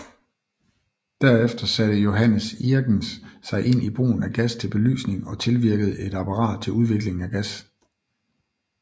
Derefter satte Johannes Irgens sig ind i brugen af gas til belysning og tilvirkede et apparat til udvikling af gas